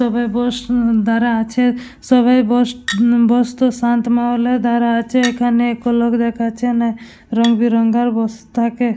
সবাই বস দাড়া আছে সবাই বস বস্ত শান্ত মহলে দাড়ায় আছে । এখানে এক লোক দেখাচ্ছে না রংবেরঙ্গার বস্তাকে --